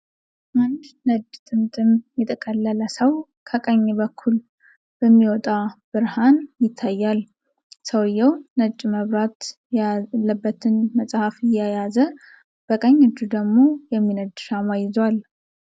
አንድ ነጭ ጥምጥም የጠቀለለ ሰው ከቀኝ በኩል በሚወጣ ብርሃን ይታያል። ሰውዬው ነጭ መብራት ያለበትን መጽሐፍ እየያዘ፣ በቀኝ እጁ ደግሞ የሚነድ ሻማ ይዟል።